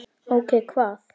Ókei. hvað?